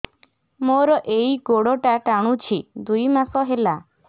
ମୋର ଏଇ ଗୋଡ଼ଟା ଟାଣୁଛି ଦୁଇ ମାସ ହେଲା